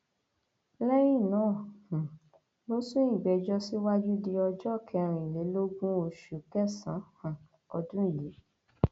lẹyìn náà um ló sún ìgbẹjọ síwájú di ọjọ kẹrìnlélógún oṣù kẹsànán um ọdún yìí